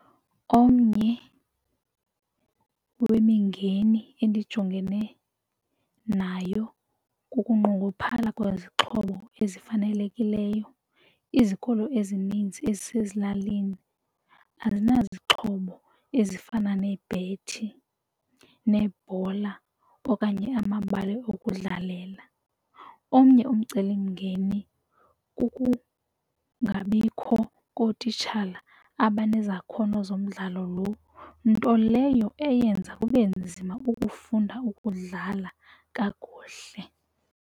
Omnye wemimngeni endijongene nayo kukunqongophala kwezixhobo ezifanelekileyo. Izikolo ezininzi ezisezilalini azinazixhobo ezifana neebhethi, neebhola okanye amabala okudlalela. Omnye umcelimngeni kukungabikho kootitshala abanezakhono zomdlalo loo, nto leyo eyenza kube nzima ukufunda ukudlala kakuhle.